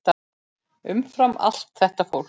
Umfram allt þetta fólk.